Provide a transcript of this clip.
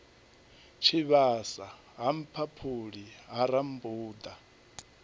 tshivhasa ha mphaphuli ha rambuḓa